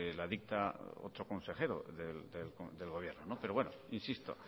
la dicta otro consejero del gobierno pero bueno insisto